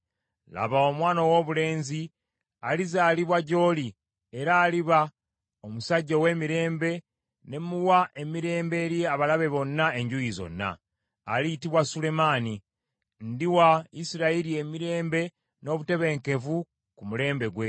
Laba, omwana owoobulenzi alizaalibwa gy’oli, era aliba omusajja ow’emirembe, ne muwa emirembe eri abalabe bonna enjuuyi zonna. Aliyitibwa Sulemaani. Ndiwa Isirayiri emirembe n’obutebenkevu ku mulembe gwe.